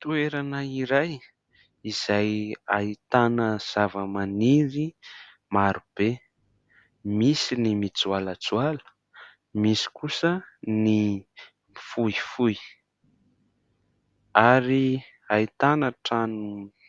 Toerana iray izay ahitana zavamaniry marobe, misy ny mijoalajoala, misy kosa ny fohifohy. Ary ahitana trano